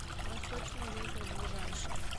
восточный ветер ближайший